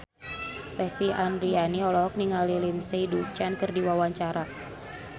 Lesti Andryani olohok ningali Lindsay Ducan keur diwawancara